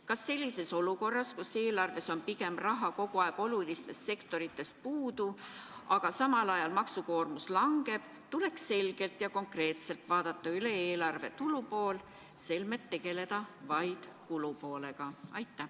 Kas sellises olukorras, kus raha on olulistest sektoritest kogu aeg pigem puudu, samal ajal aga maksukoormus langeb, tuleks selgelt ja konkreetselt üle vaadata eelarve tulupool, selmet tegeleda vaid kulupoolega?